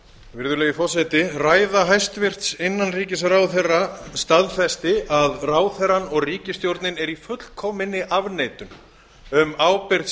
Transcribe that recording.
virðulegi forseti ræða hæstvirtur innanríkisráðherra staðfesti að ráðherrann og ríkisstjórnin eru í fullkominni afneitun um ábyrgð